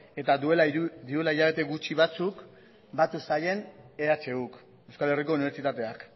eta duela hilabete gutxi batzuk batu zaien ehuk euskal herriko unibertsitateak